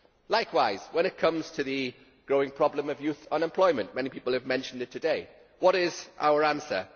Likewise when it comes to the growing problem of youth unemployment many people have mentioned it today what is our answer?